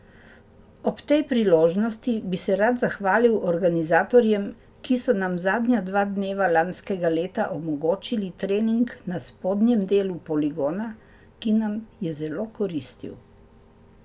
Ob tej priložnosti bi se rad zahvalil organizatorjem, ki so nam zadnja dva dneva lanskega leta omogočili trening na spodnjem delu poligona, ki nam je zelo koristil.